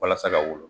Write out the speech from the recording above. Walasa ka wolo